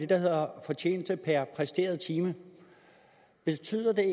der hedder fortjeneste per præsteret time betyder det